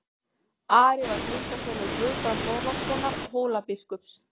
Ari var tengdasonur Guðbrands Þorlákssonar Hólabiskups.